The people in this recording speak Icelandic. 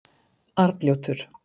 Arnljótur